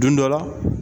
Don dɔ la